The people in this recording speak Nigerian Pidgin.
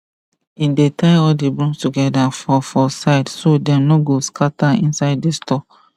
he dey tie all the brooms together for for side so dem no go scatter inside the store